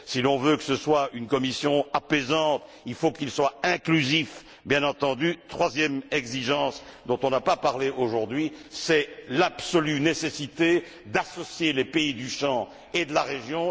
Si l'on veut que ce soit une commission apaisante, il faut qu'elle soit inclusive bien entendu. La troisième exigence dont on n'a pas parlé, aujourd'hui, c'est l'absolue nécessité d'associer les pays du champ et de la région.